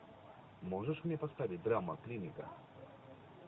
можешь мне поставить драма клиника